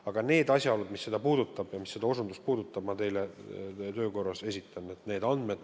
Aga need asjaolud, mis seda puudutavad, need andmed ma teile töö korras esitan.